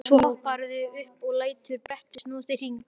Svo hopparðu upp og lætur brettið snúast í hring.